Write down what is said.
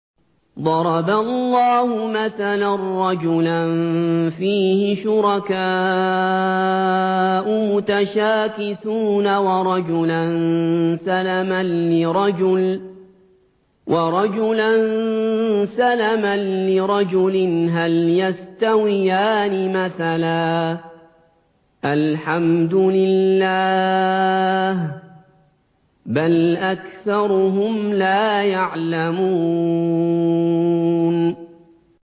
ضَرَبَ اللَّهُ مَثَلًا رَّجُلًا فِيهِ شُرَكَاءُ مُتَشَاكِسُونَ وَرَجُلًا سَلَمًا لِّرَجُلٍ هَلْ يَسْتَوِيَانِ مَثَلًا ۚ الْحَمْدُ لِلَّهِ ۚ بَلْ أَكْثَرُهُمْ لَا يَعْلَمُونَ